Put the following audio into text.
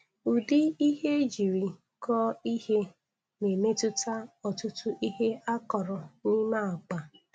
Udi ihe ejiri koọ ihe na-emetụta otuto ihe akọrọ n' ime akpa